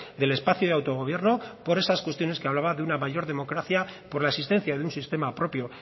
del espacio de autogobierno por esas cuestiones que hablaba de una mayor democracia por la existencia de un sistema propio